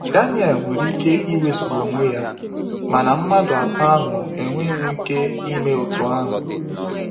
Daniel nwere ike iwezuga onwe ya, mana mmadụ atọ ahụ enweghị nwu ike ime otu ahụ.